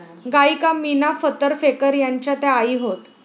गायिका मीना फतर फेकर यांच्या त्या आई होत